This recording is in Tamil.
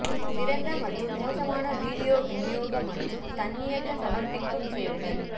சிறந்த மற்றும் மோசமான வீடியோ விநியோக மற்றும் தன்னியக்க சமர்ப்பிக்கும் சேவைகள்